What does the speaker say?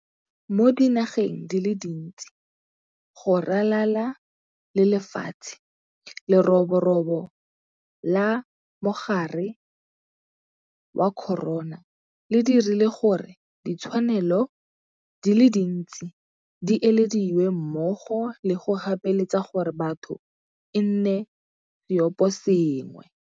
Mo dinageng di le dintse go ralala le lefatshe, lerobo robo la mogare wa corona le dirile gore ditshwanelo di le dintsi di ilediwe mmogo le go gapeletsa gore batho e nne seoposengwe.